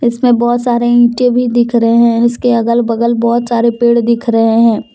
इसमें बहोत सारे ईंटें भी दिख रहे हैं इसके अगल बगल बहुत सारे पेड़ दिख रहे हैं।